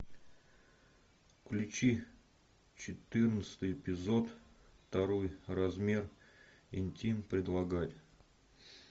включи четырнадцатый эпизод второй размер интим предлагать